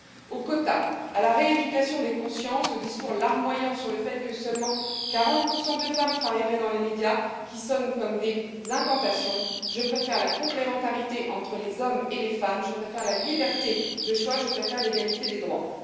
Aux quotas, à la rééducation des consciences, aux discours larmoyants sur le fait que seulement 40 de femmes travailleraient dans les médias, qui sonnent comme des incantations, je préfère la complémentarité entre les hommes et les femmes, je préfère la liberté de choix, je préfère l'égalité des droits.